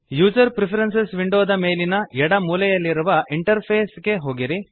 user preferences window ದ ಮೇಲಿನ ಎಡ ಮೂಲೆಯಲ್ಲಿರುವ ಇಂಟರ್ಫೇಸ್ ಗೆ ಹೋಗಿ